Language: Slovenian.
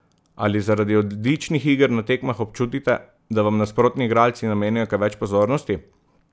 Ali zaradi odličnih iger na tekmah občutite, da vam nasprotni igralci namenjajo kaj več pozornosti?